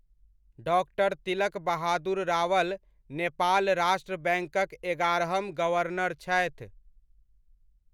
डा. तिलक बहादुर रावल नेपाल राष्ट्र बैङ्कक एगारहम गवर्नर छथि।